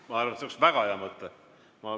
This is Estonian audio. Ma arvan, et see oleks väga hea mõte!